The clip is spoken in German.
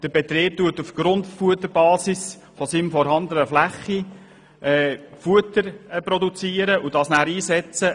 Der Betrieb wird die Tiere mit Grundfutter ernähren und somit auf seiner Fläche Futter produzieren und dieses verwenden.